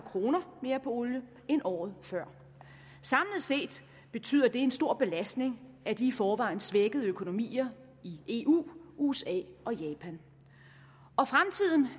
kroner mere på olie end året før samlet set betyder det en stor belastning af de i forvejen svækkede økonomier i eu usa og japan